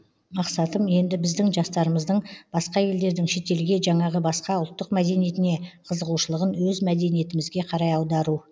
мақсатым енді біздің жастарымыздың басқа елдердің шетелге жаңағы басқа ұлттық мәдениетіне қызығушылығын өз мәдениетімізге қарай аудару